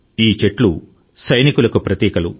ఈ చెట్లు సైనికులకు ప్రతీకలు